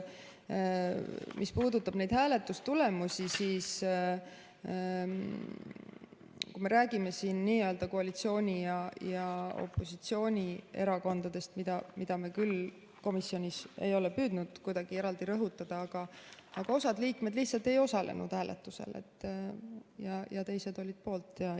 Mis puudutab neid hääletustulemusi, siis me räägime siin kahjuks n‑ö koalitsiooni- ja opositsioonierakondadest, mida me küll komisjonis ei ole püüdnud kuidagi eraldi rõhutada, aga osa liikmeid lihtsalt ei osalenud hääletusel ja teised olid poolt.